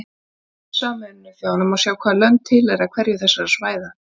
Á heimasíðu Sameinuðu þjóðanna má sjá hvaða lönd tilheyra hverju þessara svæða.